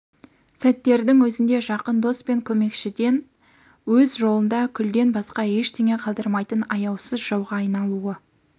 сәттердің өзінде жақын дос пен көмекшіден өз жолында күлден басқа ештеңе қалдырмайтын аяусыз жауға айналуы